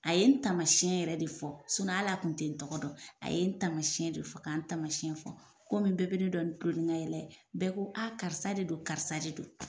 A ye n taamasiyɛn yɛrɛ de fɔ ali kun tɛ n tɔgɔ dɔn a ye n taamasiyɛn de fɔ ka n tamasiyɛn fɔ komin bɛɛ bɛ ne dɔn ni n ka kulonnnikayɛlɛ ye bɛɛ ko karisa de don karisa de don.